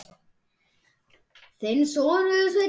Þinn sonur, Sveinn.